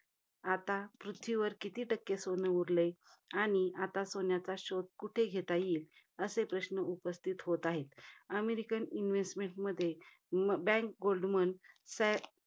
आता पृथ्वीवर किती टक्के सोनं उरलय? आणि आता सोन्याचा शोध कुठे घेता येईल? असे प्रश्न उपस्थित होत आहेत. American investment मध्ये bank गोल्डमन सॅ~